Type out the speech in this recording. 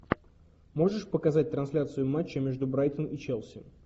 можешь показать трансляцию матча между брайтон и челси